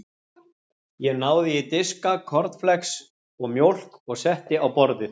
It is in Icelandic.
Ég náði í diska, kornflex og mjólk og setti á borðið.